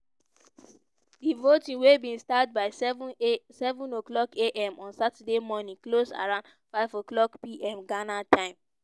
di voting wey bin start by seven a seven o'clock am on saturday morning close around five o'clock pm ghana time.